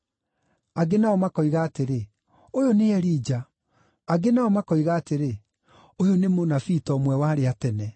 Angĩ nao makoiga atĩrĩ, “Ũyũ nĩ Elija.” Angĩ nao makoiga atĩrĩ, “Ũyũ nĩ mũnabii ta ũmwe wa arĩa a tene.”